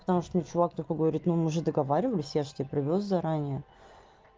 потому что мне чувак такой говорит ну мы же договаривались я же тебе привёз заранее